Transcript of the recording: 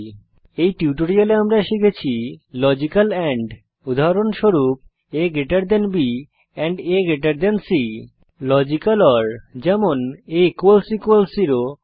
এই টিউটোরিয়ালে আমরা শিখেছি লজিক্যাল এন্ড উদাহরণস্বরূপ A B A C logical or যেমন আ 0